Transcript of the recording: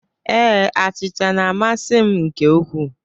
Ee, achịcha na-amasị m nke ukwuu.